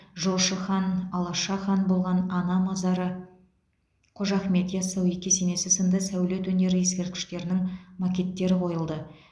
жошы хан алаша хан болған ана мазары қожа ахмет ясауи кесенесі сынды сәулет өнері ескерткіштерінің макеттері қойылды